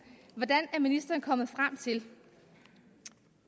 hvordan er ministeren kommet frem til